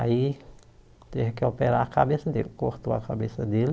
Aí, teve que operar a cabeça dele, cortou a cabeça dele,